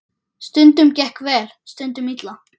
Stundum gekk vel, stundum illa.